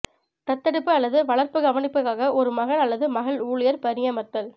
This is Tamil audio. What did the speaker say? தத்தெடுப்பு அல்லது வளர்ப்பு கவனிப்புக்காக ஒரு மகன் அல்லது மகள் ஊழியர் பணியமர்த்தல்